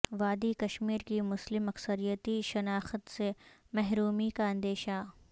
وادی کشمیر کی مسلم اکثریتی شناخت سے محرومی کا اندیشہ